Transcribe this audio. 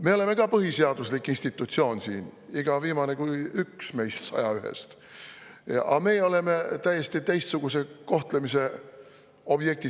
Me oleme ka põhiseaduslik institutsioon siin, iga viimane kui üks meist 101‑st, aga meie oleme täiesti teistsuguse kohtlemise objektid.